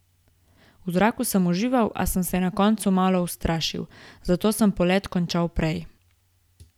V zraku sem užival, a sem se na koncu malo ustrašil, zato sem polet končal prej.